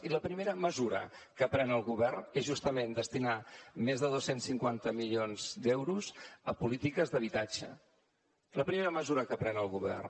i la primera mesura que pren el govern és justament destinar més de dos cents i cinquanta milions d’euros a polítiques d’habitatge la primera mesura que pren el govern